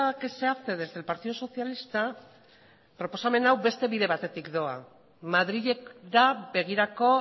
que se hace desde el partido socialista proposamen hau beste bide batetik doa madrilek da begirako